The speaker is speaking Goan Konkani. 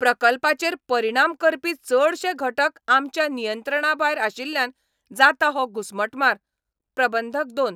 प्रकल्पाचेर परिणाम करपी चडशे घटक आमच्या नियंत्रणाभायर आशिल्ल्यान जाता हो घुसमटमार. प्रबंधक दोन